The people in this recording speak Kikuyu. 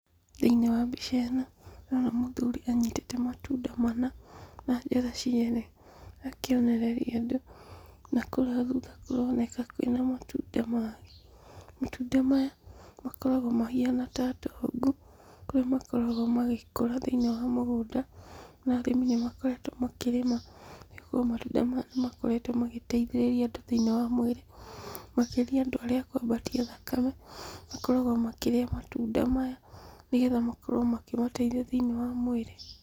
Thĩiniĩ wa mbica ĩno, ndĩrona mũthuri anyitĩte matunda mana na njara cierĩ akĩonereria andũ, na kũrĩa thutha kũroneka kwĩ na matunda mangĩ. Matunda maya, makoragwo mahana ta ndongu, kũrĩa makoragwo magĩkũra thĩiniĩ wa mũgũnda, na arĩmi nĩmakoretwo makĩrĩma, nĩgũkorwo matunda maya nĩmakoretwo magĩtaithĩrĩria andũ thĩiniĩ wa mwĩrĩ, makĩria andũ arĩa akwambatia thakame, makoragwo makĩrĩa matunda maya, nĩgetha makorwo makĩmateithia thĩinĩ wa mwĩrĩ.